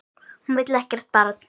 Hún vill ekkert barn.